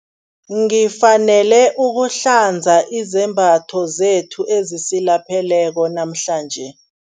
Ngifanele ukuhlanza izembatho zethu ezisilapheleko namhlanje.